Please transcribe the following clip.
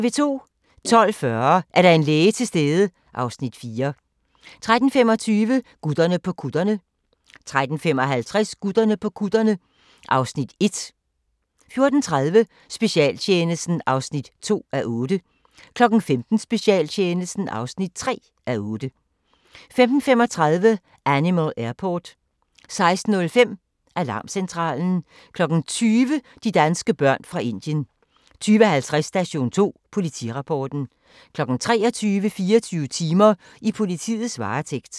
12:40: Er der en læge til stede? (Afs. 4) 13:25: Gutterne på kutterne 13:55: Gutterne på kutterne (Afs. 1) 14:30: Specialtjenesten (2:8) 15:00: Specialtjenesten (3:8) 15:35: Animal Airport 16:05: Alarmcentralen 20:00: De danske børn fra Indien 20:50: Station 2: Politirapporten 23:00: 24 timer: I politiets varetægt